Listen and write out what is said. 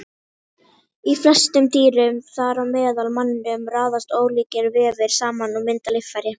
Í flestum dýrum, þar á meðal manninum, raðast ólíkir vefir saman og mynda líffæri.